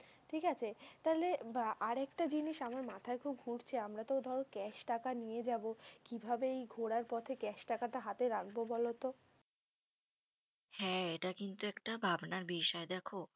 ঠিক আছে, তাহলে আ আর একটা জিনিস আমার মাথায় খুব ঘুরছে। আমরা তো ধরো cash টাকা নিয়ে যাবো। কিভাবে এই ঘোরার পথে cash টাকাটা হাতে রাখবো বলো তো? হ্যাঁ এটা কিন্তু একটা ভাবনার বিষয়। দেখো,